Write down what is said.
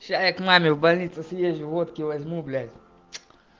сейчас я к маме в больницу съезжу водки возьму блять